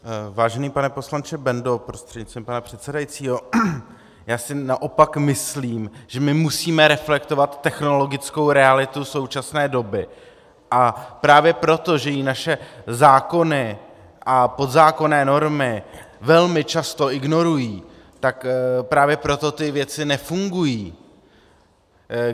Vážený pane poslanče Bendo prostřednictvím pana předsedajícího, já si naopak myslím, že my musíme reflektovat technologickou realitu současné doby, a právě proto, že ji naše zákony a podzákonné normy velmi často ignorují, tak právě proto ty věci nefungují.